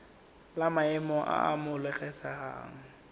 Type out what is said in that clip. la maemo a a amogelesegang